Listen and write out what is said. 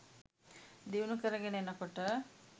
දියුණු කරගෙන එනකොට